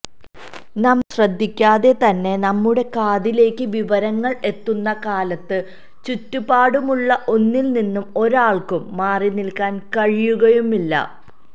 നമ്മള് ശ്രദ്ധിക്കാതെതന്നെ നമ്മുടെ കാതിലേക്ക് വിവരങ്ങള് എത്തുന്ന കാലത്ത് ചുറ്റുപാടുമുള്ള ഒന്നില് നിന്നും ഒരാള്ക്കും മാറിനില്ക്കാന് കഴിയുകയുമില്ല